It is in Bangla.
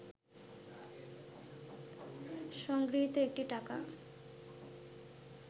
সংগৃহীত একটি টাকা